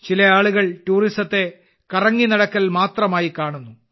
ചില ആളുകൾ ടൂറിസത്തെ കറങ്ങിനടക്കൽ മാത്രമായി കാണുന്നു